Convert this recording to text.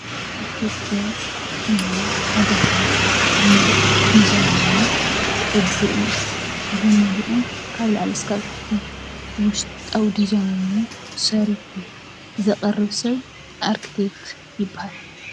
ኣርክቴክቸር ናይ ሓደ ህንፃ ሙሉእ ዲዛይኑ፣ ቅዱኡ፣ ብሙሉኡ ካብ ላዕሊ እስካብ ታሕቲ ውሽጣዊ ዲዛይኑ ሰሪሑ ዘቕርብ ሰብ ኣርክቴክ ይበሃል፡፡